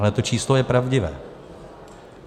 Ale to číslo je pravdivé.